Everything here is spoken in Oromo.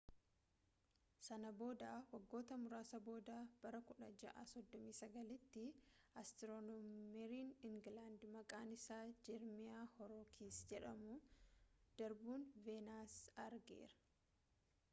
sana booda waggoota muraasa booda bara 1639 tti astiironomeerin ingiiland maqaan isaa jerimiyaa hoorooksii jedhamu darbuu veenas argeera